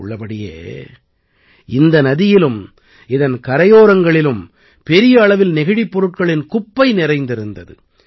உள்ளபடியே இந்த நதியிலும் இதன் கரையோரங்களிலும் பெரிய அளவில் நெகிழிப் பொருட்களின் குப்பை நிறைந்திருந்தது